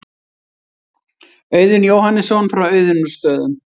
Auðunn Jóhannesson frá Auðunnarstöðum.